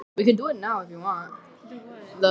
Hvað hérna, hvað eruð þið að gera?